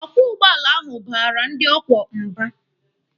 Ọkwọ ụgbọala ahụ baara ndị ọ kwọ mba.